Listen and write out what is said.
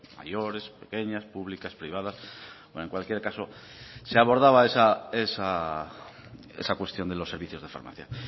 mayores pequeñas públicas privadas en cualquier caso se abordaba esa cuestión de los servicios de farmacia